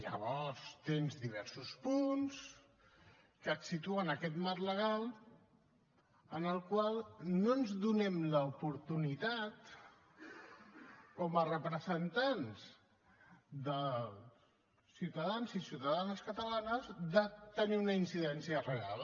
llavors tens diversos punts que et situen a aquest marc legal en el qual no ens donem l’oportunitat com a representants dels ciutadans i ciutadanes catalanes de tenir una incidència real